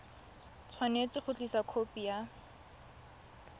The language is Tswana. tshwanetse go tlisa khopi ya